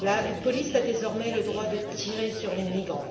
la police a désormais le droit de tirer sur les migrants.